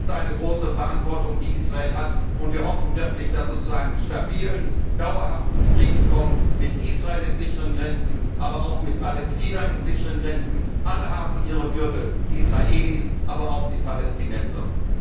Dies ist eine große Verantwortung, die Israel hat, und wir hoffen wirklich, dass es zu einem stabilen, dauerhaften Frieden kommt mit Israel in sicheren Grenzen, aber auch mit Palästina in sicheren Grenzen. Alle haben ihre Würde die Israelis, aber auch die Palästinenser!